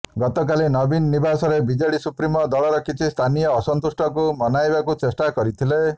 ଗତକାଲି ନବୀନ ନିବାସରେ ବିଜେଡି ସୁପ୍ରିମୋ ଦଳର କିଛି ସ୍ଥାନୀୟ ଅସନ୍ତୁଷ୍ଟଙ୍କୁ ମନାଇବାକୁ ଚେଷ୍ଟା କରିଥିଲେ